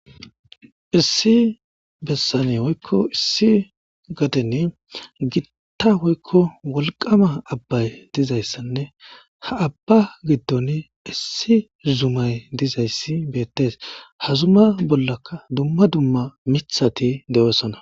Issi bessane hoykko issi gadeni gitta hoykko wolqama abbay dizayssanne ha abba giddon issi zumay dizayssi beettes hazuma bollaka dumma dumma mithati de'osana.